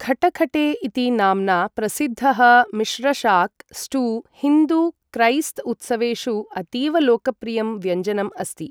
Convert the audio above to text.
खटखटे इति नाम्ना प्रसिद्धः मिश्रशाक स्टू, हिन्दु क्रैस्त उत्सवेषु अतीवलोकप्रियं व्यञ्जनम् अस्ति।